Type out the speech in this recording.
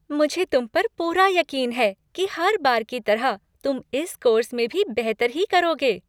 मुझे तुम पर पूरा यकीन है कि हर बार की तरह तुम इस कोर्स में भी बेहतर ही करोगे।